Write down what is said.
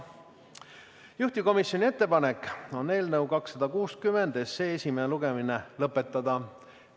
Juhtivkomisjoni ettepanek on eelnõu 260 lugemine lõpetada.